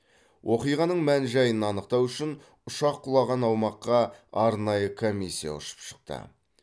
оқиғаның мән жайын анықтау үшін ұшақ құлаған аумаққа арнайы комиссия ұшып шықты